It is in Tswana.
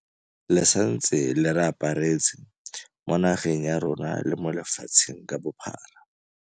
Le santse le re aparetse, mo nageng ya rona le mo lefatsheng ka bophara.